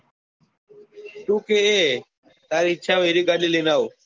તું કે એ તારી ઈચ્છા હોય એ ગાડી લઇ ને આવું.